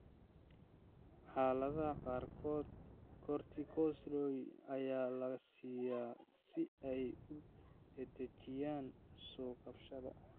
Xaaladaha qaarkood, corticosteroids ayaa la siiyaa si ay u dedejiyaan soo kabashada.